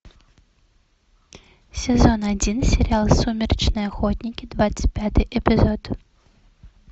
сезон один сериал сумеречные охотники двадцать пятый эпизод